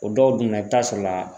O dɔw dunna i bi taa sɔrɔ la